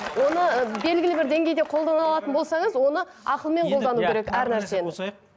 оны ы белгілі бір деңгейде қолдана алатын болсаңыз оны ақылмен қолдану керек әр нәрсені